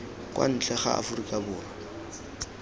kwa ntle ga aforika borwa